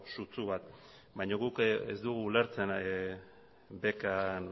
sutsu bat baina gu ez dugu ulertzen bekan